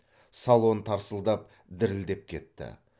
салон тарсылдап дірілдеп кетті